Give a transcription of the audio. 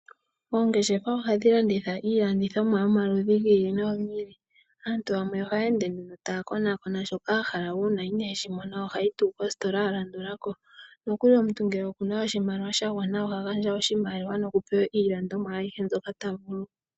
Oongeshefa ohadhi landitha iilandithomwa yomaludhi gi ili nogi ili. Aantu yamwe oha ya ende taa konakona shoka ahala, uuna ine shi mona oha yi tuu mositola yalandulako. Nokuli omuntu ngele oku na oshimaliwa sha gwana, oha gandja oshimaliwa noku pewa iilandomwa ayihe mbyoka ta vulu.